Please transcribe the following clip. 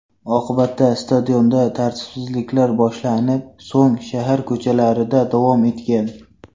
Oqibatda stadionda tartibsizliklar boshlanib, so‘ng shahar ko‘chalarida davom etgan.